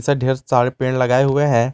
ढेर सारे पेड़ लगाए हुए हैं।